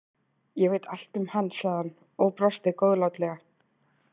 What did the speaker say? Ég veit allt um hann, sagði hann og brosi góðlátlega.